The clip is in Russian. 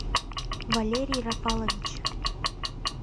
валерий рафалович